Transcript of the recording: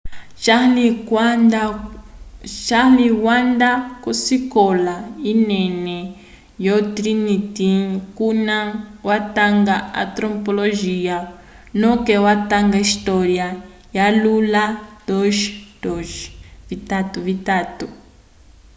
charle wanda kosikola yinene ko trinity kuna watanga antropologia noke watanga história wa yula 2:2